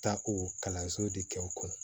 Taa o kalanso de kɛ o kɔnɔ